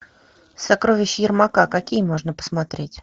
сокровища ермака какие можно посмотреть